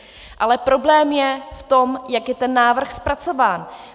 Ale problém je v tom, jak je ten návrh zpracován.